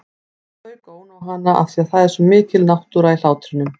Og þau góna á hana afþvíað það er svo mikil náttúra í hlátrinum.